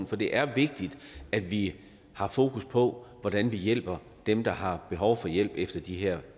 for det er vigtigt at vi har fokus på hvordan vi hjælper dem der har behov for hjælp efter de her